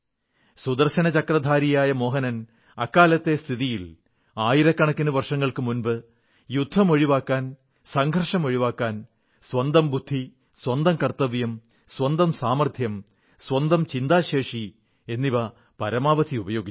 സുദർശനചക്രധാരിയായ മോഹനൻ അക്കാലത്തെ സ്ഥിതിയിൽ ആയിരക്കണക്കിന് വർഷങ്ങൾക്കു മുമ്പ് യുദ്ധം ഒഴിവാക്കാൻ സംഘർഷമൊഴിവാക്കാൻ സ്വന്തം ബുദ്ധി സ്വന്തം കർത്തവ്യം സ്വന്തം സാമർത്ഥ്യം സ്വന്തം ചിന്താശേഷി പരമാവധി ഉപയോഗിച്ചു